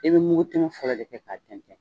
E bɛ mugu tɛmɛn fɔlɔ de kɛ ka tɛntɛn.